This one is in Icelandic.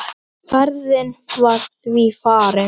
Ferðin var því farin.